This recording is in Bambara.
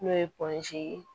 N'o ye ye